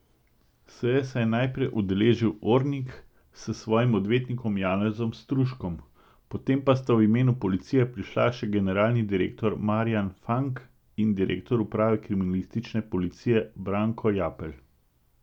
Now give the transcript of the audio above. Seje se je najprej udeležil Ornig s svojim odvetnikom Janezom Stuškom, potem pa sta v imenu policije prišla še generalni direktor Marjan Fank in direktor uprave kriminalistične policije Branko Japelj.